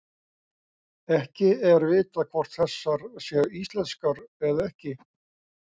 Ekki er vitað hvort þessar séu íslenskar eða ekki.